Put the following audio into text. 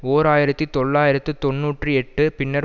ஓர் ஆயிரத்தி தொள்ளாயிரத்து தொன்னூற்றி எட்டு பின்னர்